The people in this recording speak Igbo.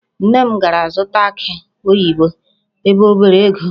Nne m gara zụta akị oyibo ebe o bere ego.